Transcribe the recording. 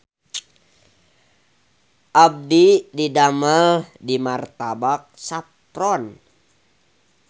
Abdi didamel di Martabak Saffron